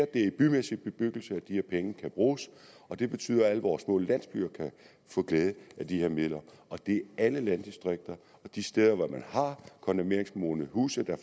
det er i bymæssig bebyggelse at de her penge kan bruges og det betyder at alle vores små landsbyer kan få glæde af de her midler det er alle landdistrikter og de steder hvor man har kondemneringsmodne huse der